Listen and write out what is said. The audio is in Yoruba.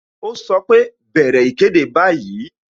Ó sọ pé "bẹ̀rẹ̀ ìkéde báyìí"